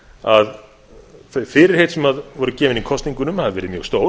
að þau fyrirheit sem voru gefin í kosningunum hafi verið mjög stór